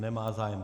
Nemá zájem.